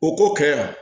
O ko kɛ yan